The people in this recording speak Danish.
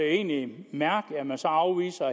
egentlig mærkeligt at man afviser